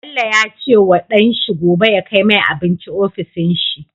Bello yace wa dan shi gobe ya kai mai abinci ofishin shi